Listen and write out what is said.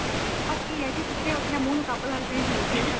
ਪੱਕੀ ਏ ਜੀ ਸੁੱਤੇ ਉੱਠਦੇ ਮੁੰਹ ਨੂੰ cup ਲੱਗਦੇ ਜਰੂਰੀ ਏ ਸਾਡੇ